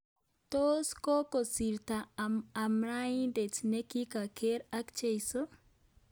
Tos kokosirto amadaindet ne kigargei ak cheiso?